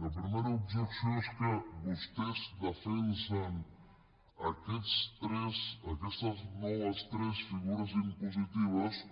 la primera objecció és que vostès defensen aquestes noves tres figures impositives